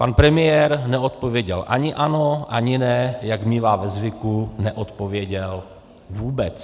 Pan premiér neodpověděl ani ano, ani ne, jak mívá ve zvyku, neodpověděl vůbec.